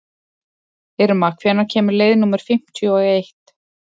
Irma, hvenær kemur leið númer fimmtíu og eitt?